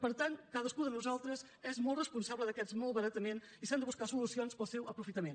per tant cadascú de nosaltres és molt responsable d’aquest malbaratament i s’han de buscar solucions per al seu aprofitament